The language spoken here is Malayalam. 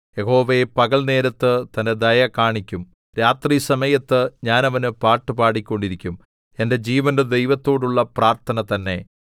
യഹോവ പകൽനേരത്ത് തന്റെ ദയ കാണിക്കും രാത്രിസമയത്ത് ഞാൻ അവന് പാട്ട് പാടിക്കൊണ്ടിരിക്കും എന്റെ ജീവന്റെ ദൈവത്തോടുള്ള പ്രാർത്ഥന തന്നെ